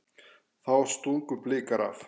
Þá stungu Blikar af.